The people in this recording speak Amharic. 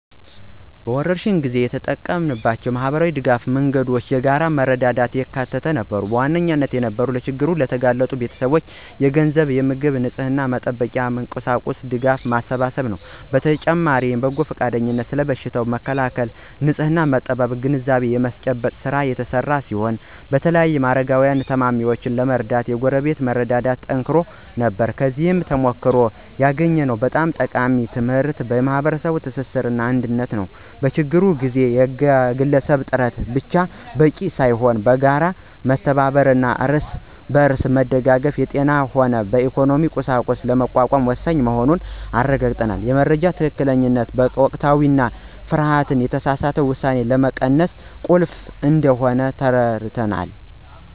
በወረርሽኝ ጊዜ የተጠቀምናቸው የማኅበረሰብ ድጋፍ መንገዶች የጋራ መረዳዳትን ያካተቱ ነበሩ። ዋነኛው የነበረው ለችግር ለተጋለጡ ቤተሰቦች የገንዘብ፣ የምግብና የንጽሕና መጠበቂያ ቁሳቁስ ድጋፍ ማሰባሰብ ነው። በተጨማሪም በጎ ፈቃደኞች ስለ በሽታው መከላከልና ንጽሕና አጠባበቅ ግንዛቤ የማስጨበጥ ሥራ የተሰራ ሲሆን በተለይም አረጋውያንንና ታማሚዎችን ለመርዳት የጎረቤት መረዳዳት ተጠናክሮ ነበር። ከዚህ ተሞክሮ ያገኘነው በጣም ጠቃሚ ትምህርት የማኅበረሰብ ትስስርና አንድነት ነው። በችግር ጊዜ የግለሰብ ጥረት ብቻ በቂ ሳይሆን በጋራ መተባበርና እርስ በርስ መደጋገፍ የጤናም ሆነ የኢኮኖሚ ቀውስን ለመቋቋም ወሳኝ መሆኑን አረጋግጠናል። የመረጃ ትክክለኛነትና ወቅታዊነት ደግሞ ፍርሃትንና የተሳሳተ ውሳኔን ለመቀነስ ቁልፍ እንደሆነ ተረድተናል።